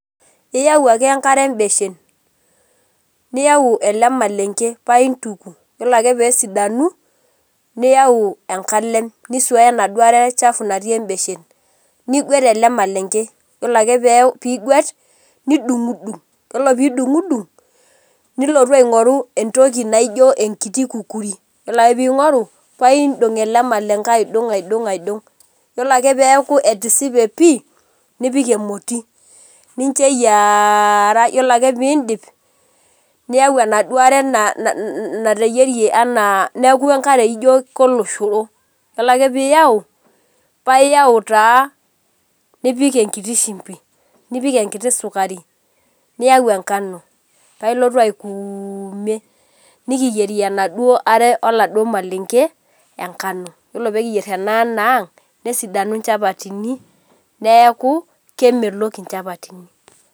Iyau ake enkare embeshen, niyau ele malenke paa intuku, yiolo ake pee esidanu, niyau enkalem nisuaya enaduo are chafu natii embeshen. Niguet ele malenge, yiolo ake pee iguet, nidung dung, nilotu aingorru entoki naijo enkiti kukuri, wore ake pee ingoru, paa iindong ele malenke aidong aidong, yiolo ake pee eaku etisipe pii, nipik emoti, nicho eyiaara wore ake piindip, niyau enaduo are nateyiere enaa neeku enkare ijo koloshoro, yieolo ake pee iyau, paa iyau taa nipik enkiti shumbi , nipik enkiti sukari, niyau enkano, paa ilotu aukuume. Nikiyierie enaduo are oladuo malenge enkano, yiolo pee kiyier enaduo aano ang' nesidanu inchapatini neeku kemelok inchapatini.